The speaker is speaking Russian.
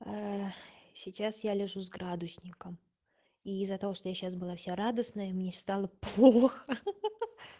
сейчас я лежу с градусником и из-за того что я сейчас была вся радостная и мне стало плохо хи-хи